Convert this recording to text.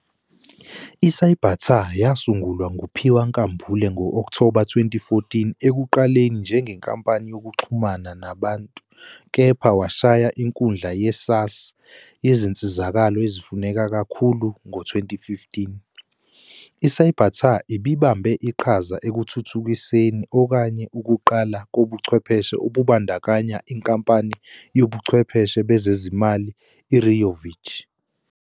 ICybatar yasungulwa nguPhiwa Nkambule ngo-Okthoba 2014 ekuqaleni njengenkampani yokuxhumana nabantu kepha washaya inkundla ye-SaaS yezinsizakalo ezifuneka kakhulu ngo-2015. ICybatar ibibambe iqhaza ekuthuthukiseni okunye ukuqala kobuchwepheshe okubandakanya inkampani yobuchwepheshe bezezimali iRiovic.